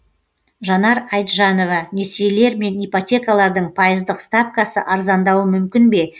жанар айтжанова несиелер мен ипотекалардың пайыздық ставкасы арзандауы мүмкін бе